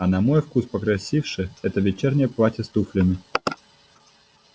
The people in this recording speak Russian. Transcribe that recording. а на мой вкус покрасивше это вечернее платье с туфлями